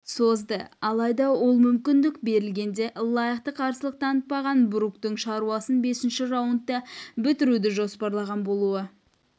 созды алайда ол мүмкіндік берілгенде лайықты қарсылық танытпаған бруктың шаруасын бесінші раундта бітіруді жоспарлаған болуы